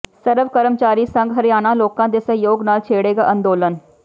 ਸਰਵ ਕਰਮਚਾਰੀ ਸੰਘ ਹਰਿਆਣਾ ਲੋਕਾਂ ਦੇ ਸਹਿਯੋਗ ਨਾਲ ਛੇੜੇਗਾ ਅੰਦੋਲਨ